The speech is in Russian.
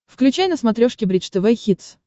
включай на смотрешке бридж тв хитс